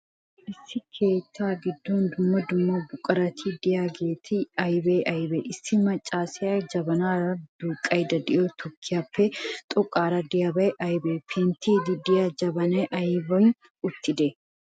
Issi keettaa giddon dumma dumma buqurati de'iyaageeti aybee aybee? Issi maccaasiyaa jabanaara duuqqaydda de'iyoo tukkiyaappe xoqqaara de'iyaabay aybee? Penttiiddi de'iyaa jabanay aybin uttidee?